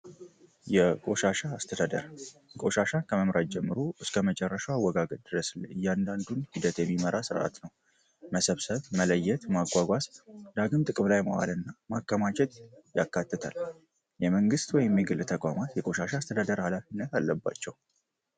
የአስተደርቆሻሻ ከመምራት ጀምሮ እስከ መጨራሻው አወጋገት ድረስ እያንዳንዱን ሂደት የሚመራ ስርዓት ነው መሰብሰብ መለየት ማጓጓስ ዳግም ጥቅብ ላይ መዋል እና ማከማቼት ያካትታል የመንግሥት ወይሚግል ተቋማት የቆሻሻ አስተለደር ሃላፍ ነት አለባቸው